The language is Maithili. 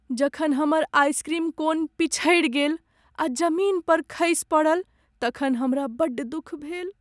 जखन हमर आइसक्रीम कोन पिछड़ि गेल आ जमीन पर खसि पड़ल तखन हमरा बड्ड दुख भेल।